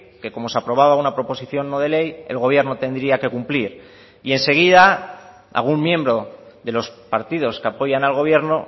que como se aprobaba una proposición no de ley el gobierno tendría que cumplir y enseguida algún miembro de los partidos que apoyan al gobierno